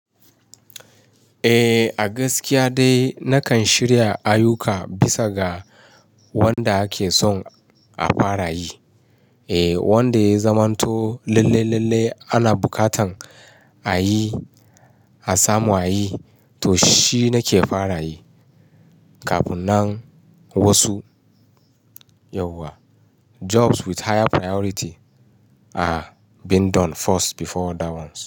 Eh, a gaskiya dai nakan shirya ayuka bisa ga wanda ake son a fara yi. Eh, wanda ya zamanto lalle-lalle ana bukatan a yi, a samu ayi, to shi nake fara yi. Kafunnan wasu, yauwa, jobs with higher priority are being done first before other ones.